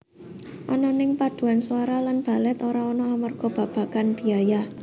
Ananging paduan swara lan balèt ora ana amarga babagan biaya